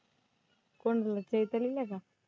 कोण बोललं चैतालीला का?